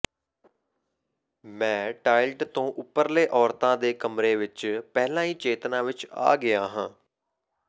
ਮੈਂ ਟਾਇਲਟ ਤੋਂ ਉੱਪਰਲੇ ਔਰਤਾਂ ਦੇ ਕਮਰੇ ਵਿੱਚ ਪਹਿਲਾਂ ਹੀ ਚੇਤਨਾ ਵਿੱਚ ਆ ਗਿਆ ਹਾਂ